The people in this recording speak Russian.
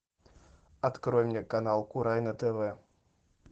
открой мне канал курай на тв